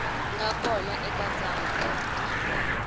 nga kona eka tsalwa leri